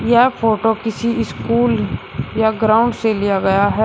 यह फोटो किसी स्कूल या ग्राउंड से लिया गया है।